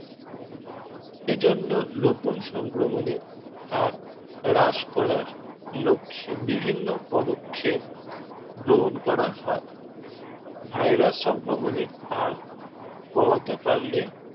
এজন্য নতুন সংক্রমণের হার হ্রাস করার লক্ষে বিভিন্ন পদক্ষেপ গ্রহণ করা হয় Virus সংক্রমণের হার কমাতে পাড়লে